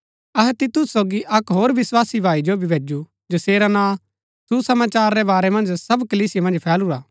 अहै तीतुस सोगी अक्क होर विस्वासी भाई जो भी भैजु जैसेरा नां सुसमाचार रै बारै मन्ज सब कलीसिया मन्ज फैलुरा हा